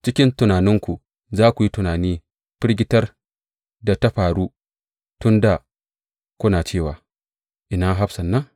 Cikin tunaninku za ku yi tunani firgitar da ta faru tun dā kuna cewa, Ina hafsan nan?